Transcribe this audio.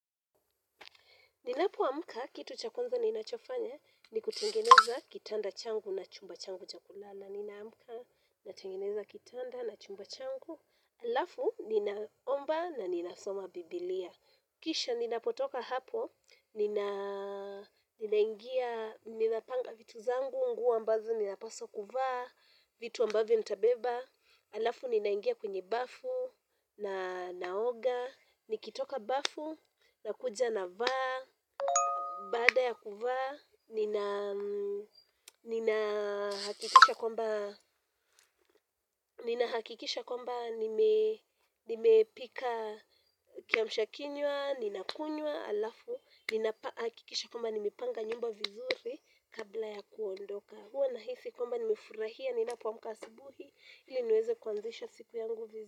Ninapo amka, kitu cha kwanza ninachofanya, ni kutengeneza kitanda changu na chumba changu cha kulala. Ninaamka natengeneza kitanda na chumba changu alafu ninaomba na ninasoma bibilia kisha ninapotoka hapo, ninapanga vitu zangu, nguo ambazo ninapaswa kuvaa, vitu ambavyo nitabeba. Alafu ninaingia kwenye bafu, na naoga, nikitoka bafu, nakuja na vaa, baada ya kuvaa, nina hakikisha kwamba nimepika kiamsha kinywa ninakunywa halafu nina hakikisha kwamba nimepanga nyumba vizuri kabla ya kuondoka huwa nahisi kwamba nimefurahia ninapoamka asubuhi ili niweze kuanzisha siku yangu vizuri.